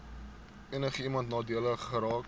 enigiemand nadelig geraak